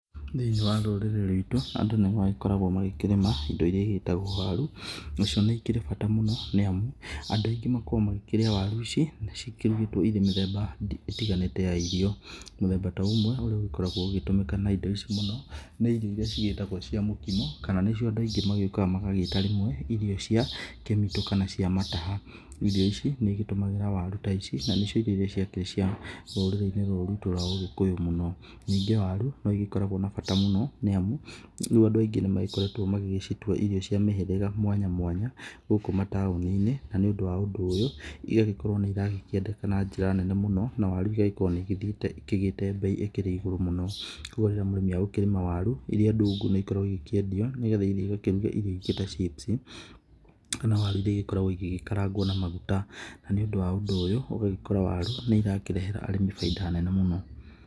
Thĩinĩ wa rũrĩrĩ ruitũ andũ nĩ magĩkoragwo magĩkĩrĩma indo iria igĩgĩtagwo waru, nacio nĩ ikĩrĩ bata mũno nĩ amu andũ aingĩ magĩkoragwo makĩrĩa waru ici cikĩrugĩtwo ikĩrĩ mĩthemba ĩtiganĩte ya irio. Mũthemba ũmwe ũrĩa ũgĩkoragwo ũgĩtũmĩka na indo ici mũno nĩ irio iria cigĩtagwo cia mũkimo, kana nĩcio andũ aingĩ magĩũkaga magagĩta rĩmwe irio cia kĩmitũ kana cia mataha. Irio ici nĩ igĩtũmagĩra waru ta ici na nĩcio irio ciakĩrĩ cia rũrĩrĩ-inĩ rũrũ ruitũ rwa ũgĩkũyũ mũno. Ningĩ waru no igĩkoragwo na bata mũno nĩ amu rĩ andũ aingĩ nĩ makoretwo magĩgĩcitua irio cia mĩhĩrĩga mwanya mwanya, gũkũ mataũni-inĩ. Na nĩ ũndũ wa ũndũ ũyũ, igagĩkorwo nĩ irakĩendeka na njĩra nene mũno na waru igagĩkorwo nĩ igĩthiĩte ikĩgĩte mbei ĩkĩrĩ igũrũ mũno. Koguo rĩrĩa mũrĩmi agũkĩrĩma waru iria ndungu nĩ ikoragwo igĩkĩendio nĩ getha ithiĩ igakĩruga irio ingĩ chips kana waru iria igĩkoragwo igĩkarangwo na maguta. Na nĩ ũndũ wa ũndũ ũyũ ũgagĩkora waru nĩ irakĩrehera arĩmi bainda nene mũno.